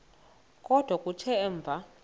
kodwa kuthe emva